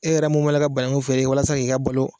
E yɛrɛ mun b'a la ka bananku feere walasa k' i ka balo